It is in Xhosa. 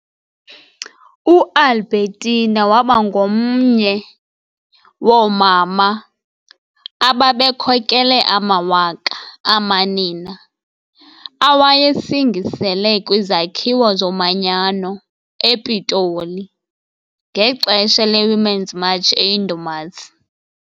UAlbertina wabangomye woomama ababekhokele amawaka amanina awayesingisele kwiZakhiwo Zomanyano ePitoli, ngexesha le-Women's March eyindumasi.